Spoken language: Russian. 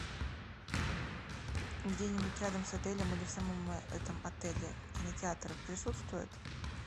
где нибудь рядом с отелем или в самом этом отеле кинотеатр присутствует